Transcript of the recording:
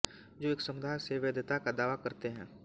जो एक समुदाय से वैधता का दावा करते हैं